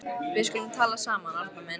Við skulum tala saman, Arnar minn.